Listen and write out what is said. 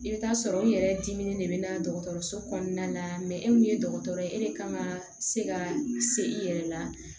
I bɛ taa sɔrɔ u yɛrɛ dimi de bɛ na dɔgɔtɔrɔso kɔnɔna na e min ye dɔgɔtɔrɔ ye e de kan ka se ka se i yɛrɛ la